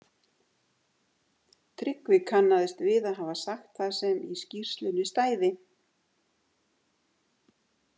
Tryggvi kannaðist við að hafa sagt það sem í skýrslunni stæði.